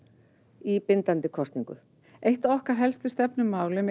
í bindandi kosningu eitt af okkar helstu stefnumálum er